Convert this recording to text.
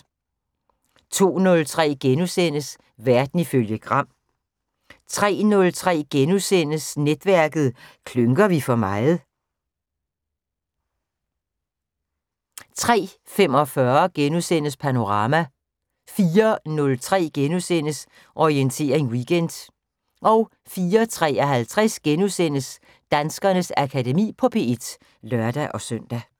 02:03: Verden ifølge Gram * 03:03: Netværket: Klynker vi for meget? * 03:45: Panorama * 04:03: Orientering Weekend * 04:53: Danskernes Akademi på P1 *(lør-søn)